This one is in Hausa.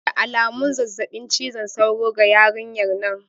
Da alamun zazzabin cizon sauro ga yarinyan nan